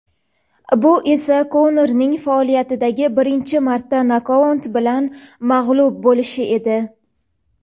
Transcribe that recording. Bu esa Konorning faoliyatidagi birinchi marta nokaut bilan mag‘lub bo‘lishi edi.